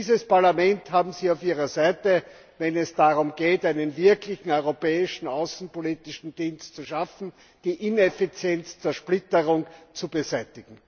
Dieses Parlament haben Sie auf Ihrer Seite, wenn es darum geht, einen wirklichen Europäischen Auswärtigen Dienst zu schaffen und die ineffiziente Zersplitterung zu beseitigen.